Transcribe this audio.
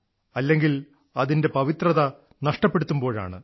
അല്ലെങ്കിൽ അതിന്റെ പവിത്രത നഷ്ടപ്പെടുത്തുമ്പോഴാണ്